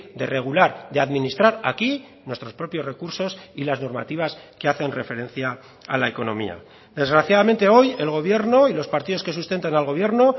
de regular de administrar aquí nuestros propios recursos y las normativas que hacen referencia a la economía desgraciadamente hoy el gobierno y los partidos que sustentan al gobierno